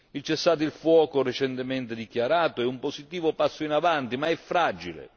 Il cessate il fuoco recentemente dichiarato è un positivo passo in avanti, ma è fragile.